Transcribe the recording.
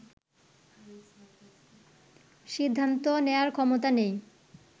সিদ্ধান্ত নেওয়ার ক্ষমতা নেই